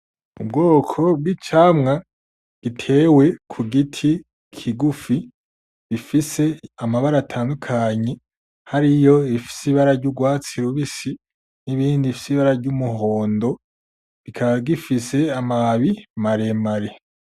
Ubwoko bw'icamwa gitewe ku giti kigufi, gifise amabara atandukanye, hariyo iyifise ibara y'ugwatsi rubisi n'iyindi ifise ibara ry'umuhondo, kikaba gifise amababi maremare.